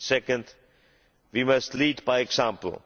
Secondly, we must lead by example.